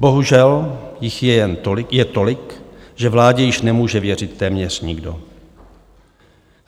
Bohužel jich je tolik, že vládě již nemůže věřit téměř nikdo.